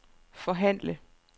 forhandle